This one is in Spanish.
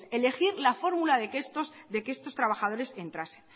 elegir la fórmula de que estos trabajadores entrasen